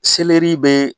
Selɛri bɛ